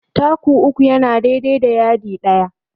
Taku uku yana dai dai da yadi ɗaya.